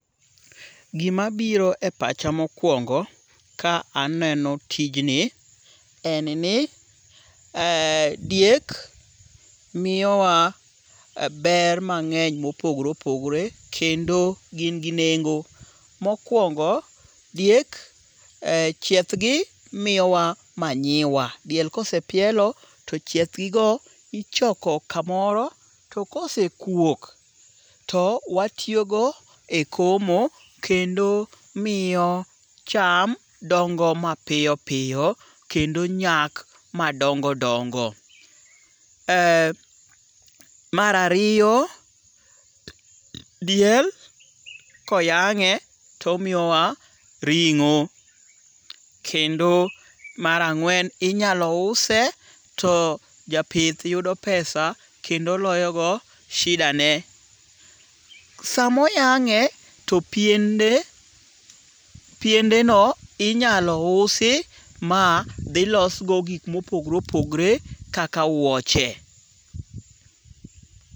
Gima biro e pacha mokwongo ka aneno tijni en ni diek miyo wa ber mang'eny mopogore opogore kendo gin gi nengo. Mokwongo diek chiethgi miyowa manyiwa. Diel kosepielo to chiethgi go ichoko kamoro. To kose kuok to watiyo go e komo kendo miyo cham dongo mapiyo piyo kendo nyak madongo dongo. Mar ariyo, diel koyang'e to omiyowa ring'o. Kendo mar ang'wen inyalo use to japith yudo pesa kendo loyo go shida ne. Samoyang'e to piende piende no inyalo usi ma dhilosgo gik mopogore opogore kaka wuoche.